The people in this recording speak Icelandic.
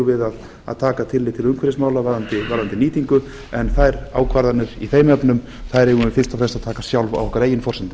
við að taka tillit til umhverfismála varðandi nýtingu en þær ákvarðanir í þeim efnum eigum við fyrst og fremst að taka sjálf á okkar eigin forsendum